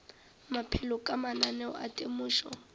maphelo ka mananeo a temošo